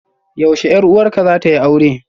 Yaushe 'yar uwarka zata yi aure?